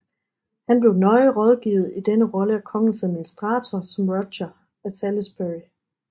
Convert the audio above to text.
Han blev nøje rådgivet i denne rolle af kongens administratorer som Roger af Salisbury